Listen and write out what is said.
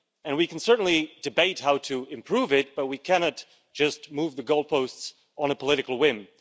We can certainly debate how to improve it, but we cannot just move the goalposts on a political whim.